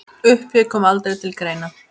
Uppgjöf kom aldrei til greina.